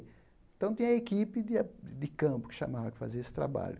Então, tinha a equipe de a de campo que chamava que fazia esse trabalho.